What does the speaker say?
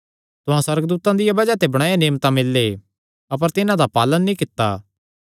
तुहां सुअर्गदूतां दिया बज़ाह ते बणायो नियम तां मिल्ले अपर तिन्हां दा पालण नीं कित्ता